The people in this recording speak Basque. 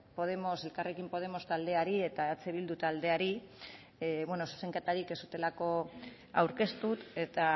podemos elkarrekin podemos taldeari eta eh bildu taldeari zuzenketarik ez zutelako aurkeztu eta